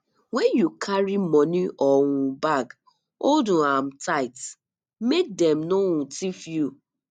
when you carry money or um bag hold um am tight make dem no um thief you